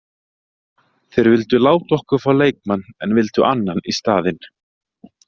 Þeir vildu láta okkur fá leikmann en vildu annan í staðinn.